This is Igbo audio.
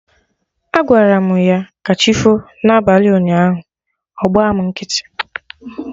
Agwaram ya 'kachifo' na abalị ụnyaahụ, ọ gba mụ nkịtị